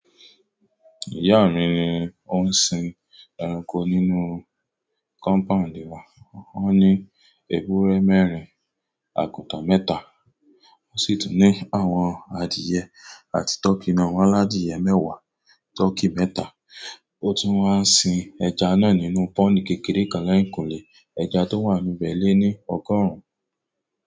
Ìyá mi ni ó ń sin ẹranko nínú kọ́mpáǹdì wa. Ó ní ewúrẹ́ mẹ́rin, àgùntàn mẹ́ta, ó sì tún ní àwọn adìyẹ àti tọkí náà. Wọ́n ladiyẹ̀ mẹ́wàá tọkí mẹ́ta. O tun wa n sin ẹja náà nínú pond kékeré kan lẹ́yìn kule ẹja tó wà níbẹ̀ lé ní ọgọ́rùn-ún.